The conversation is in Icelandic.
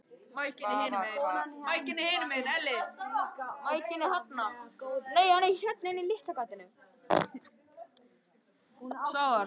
Svafar, hvaða mánaðardagur er í dag?